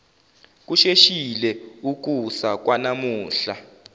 kusheshile ukusa kwanamuhla